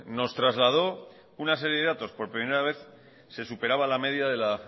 nos trasladó una serie de datos por primera vez se superaba la media de la